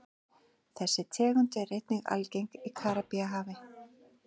Þessi tegund er einnig algeng í Karíbahafi.